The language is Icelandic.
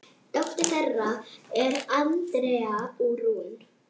Dóttir þeirra er Andrea Rún.